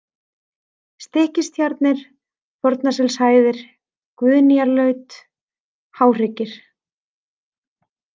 Stykkistjarnir, Fornaselshæðir, Guðnýjarlaut, Háhryggir